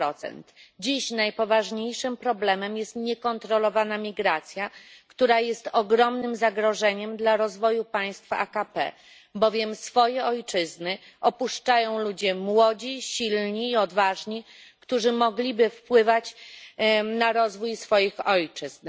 2. Dziś najpoważniejszym problemem jest niekontrolowana migracja, która jest ogromnym zagrożeniem dla rozwoju państw AKP, bowiem swoje ojczyzny opuszczają ludzie młodzi, silni i odważni, którzy mogliby wpływać na rozwój swoich ojczyzn.